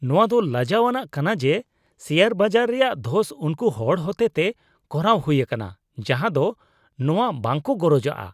ᱱᱚᱶᱟ ᱫᱚ ᱞᱟᱡᱟᱣ ᱟᱱᱟᱜ ᱠᱟᱱᱟ ᱡᱮ, ᱥᱮᱭᱟᱨ ᱵᱟᱡᱟᱨ ᱨᱮᱭᱟᱜ ᱫᱷᱚᱥ ᱩᱱᱠᱩ ᱦᱚᱲ ᱦᱚᱛᱮᱛᱮ ᱠᱚᱨᱟᱣ ᱦᱩᱭ ᱟᱠᱟᱱᱟ ᱡᱟᱦᱟᱭ ᱫᱚ ᱱᱚᱣᱟ ᱵᱟᱝᱠᱚ ᱜᱚᱨᱚᱡᱟᱜᱼᱟ ᱾